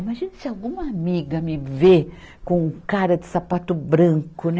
Imagina se alguma amiga me ver com um cara de sapato branco, né?